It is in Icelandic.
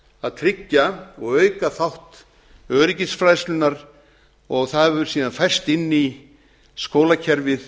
að tryggja og auka þátt öryggisfræðslunnar og það hefur síðan færst inn í skólakerfið